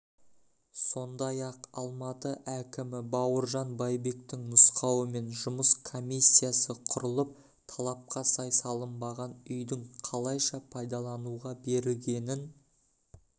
сондай-ақ алматы әкімі бауыржан байбектің нұсқауымен жұмыс комиссиясы құрылып талапқа сай салынбаған үйдің қалайша пайдалануға берілгенін